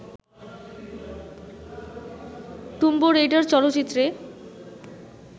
tomb Raider চলচ্চিত্রে